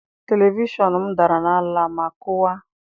Televishọn m dara n'ala ma kụwaa.